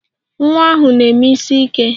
Nwa ahụ na-eme isiike